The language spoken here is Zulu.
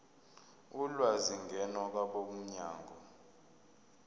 ulwazi ngena kwabomnyango